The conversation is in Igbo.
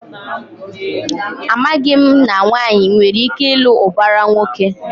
Amaghị m na nwaanyị nwere ike ịlụ ụbara nwoke.